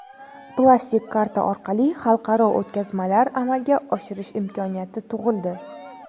Plastik karta orqali xalqaro o‘tkazmalar amalga oshirish imkoniyati tug‘ildi.